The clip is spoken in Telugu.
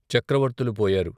చక్రవర్తులు పోయారు.